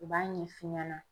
U b'a ɲɛ f'i ɲɛna